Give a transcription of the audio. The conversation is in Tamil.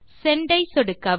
செண்ட் ஐ சொடுக்கவும்